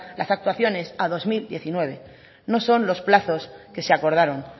las actuaciones a dos mil diecinueve no son los plazos que se acordaron